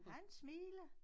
Han smiler